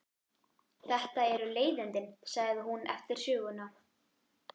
Þetta eru leiðindi, segir hún eftir söguna.